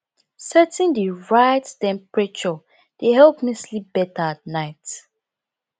setting the right temperature dey help me sleep better at night